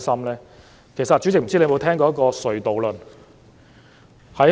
主席，不知你有沒有聽過"隧道論"？